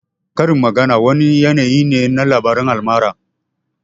Karin magana wani yanayi ne na labaran almara